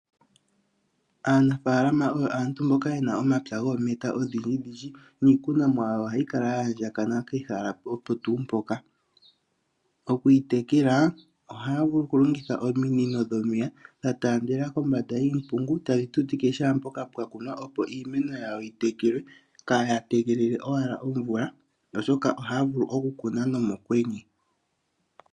Aanafaalama oyo aantu mboka yena omapya goometa odhindjidhidji, niikunomwa yawo oha yi kala ya andjakana pehala opo tuu mpoka. Oku yi tekela ohaya vulu oku longitha ominino dhomeya, dha taandela kombanda yiimpungu, tadhi tutike kehe mpoka pwa kunwa opo iimeno yawo yi tekelwe, kaaya tegelele owala omvula, oshoka ohaya vulu oku kuna no mokwenye.